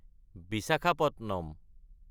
Visakhapatnam